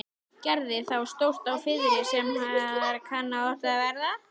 Gerði þá stórt á firðinum sem þar kann oft verða.